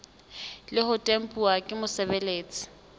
le ho tempuwa ke mosebeletsi